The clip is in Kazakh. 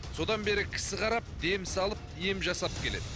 содан бері кісі қарап дем салып ем жасап келеді